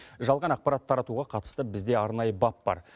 жалған ақпарат таратуға қатысты бізде арнайы бап бар